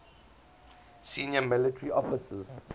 senior military officers